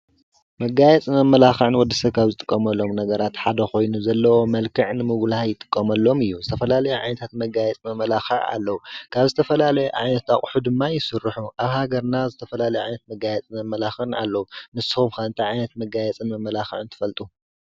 መጋየፅን መመላኽዕን ወድሰብ ካብ ዝጥቀመሎም ነገራት ሓደ ኮይኑ ዘለዎ መልክዕ ንምጉላህ ይጥቀመሉም እዩ። ዝተፈላለዩ ዓይነታት መጋየፂ መመላኽዕን ኣለዉ። ካብ ዝተፈላለዩ ዓይነት ኣቁሑ ድማ ይስርሑ። ኣብ ሃገርና ዝተፈላለዩ መጋየፅን መመላክዕን ኣለዉ ።ንስኹም ከ ታይ ዓይነት መጋየፅን መመላኽዕን ትፈልጡ?